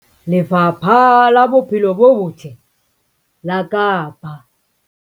Lefapha la Bophelo bo Botle la Kapa